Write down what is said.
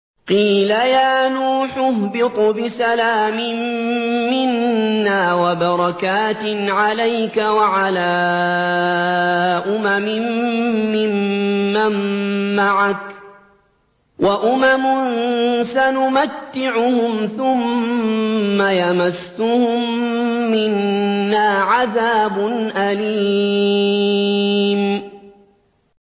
قِيلَ يَا نُوحُ اهْبِطْ بِسَلَامٍ مِّنَّا وَبَرَكَاتٍ عَلَيْكَ وَعَلَىٰ أُمَمٍ مِّمَّن مَّعَكَ ۚ وَأُمَمٌ سَنُمَتِّعُهُمْ ثُمَّ يَمَسُّهُم مِّنَّا عَذَابٌ أَلِيمٌ